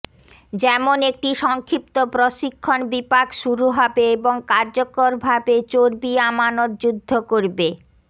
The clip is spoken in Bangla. যেমন একটি সংক্ষিপ্ত প্রশিক্ষণ বিপাক শুরু হবে এবং কার্যকরভাবে চর্বি আমানত যুদ্ধ করবে